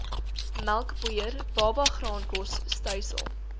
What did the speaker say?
melkpoeier babagraankos stysel